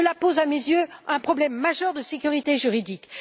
Cela pose, à mes yeux, un problème majeur de sécurité juridique.